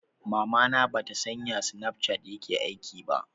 Mamana ba ta san ya snapchat yake aiki ba